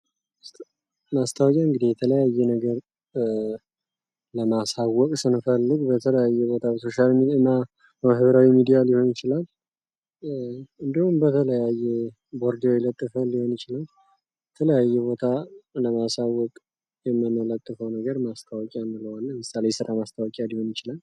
ማስታወቂያ እንግዲህ የተለያዩ አይነት ነገሮችን ለማሳወቅ ስንፈልግ በተለያዩ ሁኔታ ሶሻል ሚዲያ ና ማህበራዊ ሚዲያ ሊሆን ይችላል እንዲሁም በተለያየ ቦርድ ላይ ለጥፋን ሊሆን ይችላል የተለያዩ ቦታ ለማሳወቅ የምንለጥፈው ነገር ማስታወቂያ እንለዋለን ለምሳሌ የስራ ማስታወቂያ ሊሆን ይችላል ::